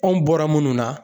Anw bɔra munnu na.